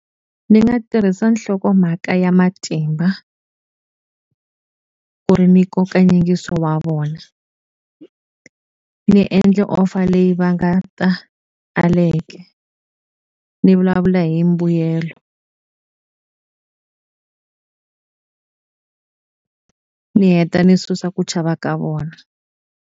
Ndzi nga tirhisa nhlokomhaka ya matimba, ku ri ni nkoka nyingiso wa vona. Ni endla offer leyi va nga ta , ni vulavula hi mbuyelo. Ni heta ni susa ku chava ka vona.